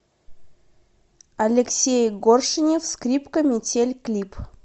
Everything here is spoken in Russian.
алексей горшенев скрипка метель клип